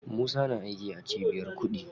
Musa na aiki a cibiyar kuɗi.